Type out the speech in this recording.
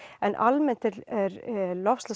en almennt er